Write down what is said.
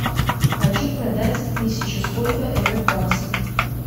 хочу продать тысячу сколько это в баксах